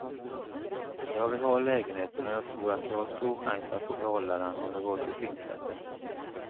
Jag vill ha lägenheten, och jag tror att jag har stor chans att få behålla den om det går till tingsrätten.